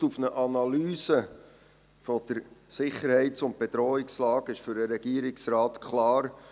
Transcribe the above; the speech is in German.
Gestützt auf eine Analyse der Sicherheits- und Bedrohungslage ist für den Regierungsrat klar: